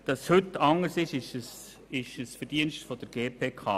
Dass es heute anders ist, ist das Verdienst der GPK.